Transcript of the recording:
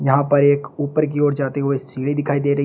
यहां पर एक ऊपर की ओर जाते हुए सीढ़ी दिखाई दे रही--